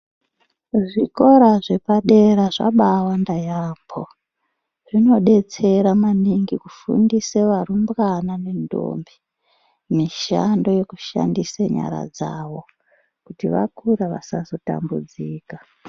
Zvikora zvepadera zvabawanda yaamho zvinodetsera maningi kufundiswe varumbwana ne ntombi, mishando yekushandise nyara dzavo, kuti vakura vasazotambudzika.